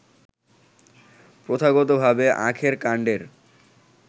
প্রথাগতভাবে আখের কান্ডের